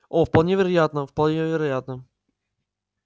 о вполне вероятно вполне вероятно